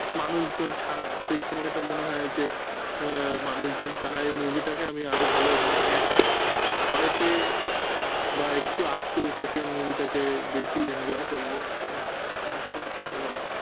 মানুষজন ছাড়া সেই সময়টা মনে হয় যে মানুষজন ছাড়া এই movie টাকে আমি আরো ভালো মানে একা ভয় পেয়ে বা একটু আটকে উঠে সেই movie টাকে বেশি enjoy করব এটা পছন্দ করি।